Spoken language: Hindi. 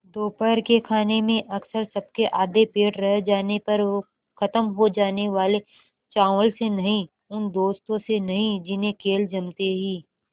दोपहर के खाने में अक्सर सबके आधे पेट रह जाने पर ख़त्म हो जाने वाले चावल से नहीं उन दोस्तों से नहीं जिन्हें खेल जमते ही